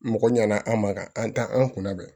Mɔgɔ ɲana an ma ka an ta an kunna bɛn